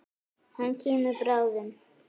Hann kemur bráðum.